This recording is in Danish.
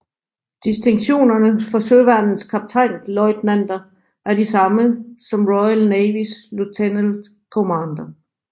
Distinktionerne for Søværnets kaptajnløjtnanter er de samme som Royal Navys Lieutenant Commander